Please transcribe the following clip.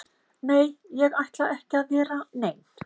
Nei, ég ætla ekki að vera nein